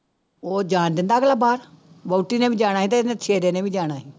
ਉਹ ਜਾਣ ਦਿੰਦਾ ਅਗਲਾ ਬਾਹਰ, ਵਹੁਟੀ ਨੇ ਵੀ ਜਾਣਾ ਸੀ ਤੇ ਇਹਨੇ ਸੇਰੇ ਨੇ ਵੀ ਜਾਣਾ ਸੀ।